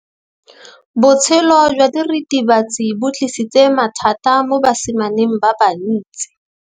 Botshelo jwa diritibatsi ke bo tlisitse mathata mo basimaneng ba bantsi.